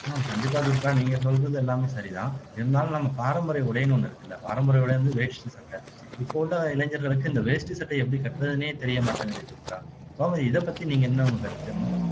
உம் கண்டிப்பா துர்கா நீங்க சொல்றது எல்லாமே சரிதான் இருந்தாலும் நம்ம பாரம்பரிய உடைன்னு ஒண்ணு இருக்குல்ல பாரம்பரிய உடை வந்து வேஷ்டி சட்டை இப்போ உள்ள இளைஞர்களுக்கு இந்த வேஷ்டி சட்டையை எப்படி கட்றதுன்னே தெரிய மாட்டேங்குது துர்கா இப்போ இதை பத்தி நீங்க என்ன உங்க கருத்து என்ன